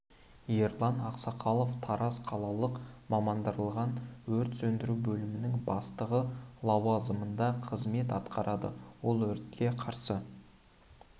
ерлан ақсақалов тараз қалалық мамандандырылған өрт сөндіру бөлімінің бастығы лауазымында қызмет атқарады ол өртке қарсы